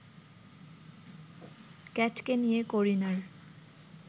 ক্যাটকে নিয়ে করিনার